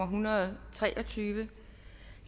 hundrede og tre og tyve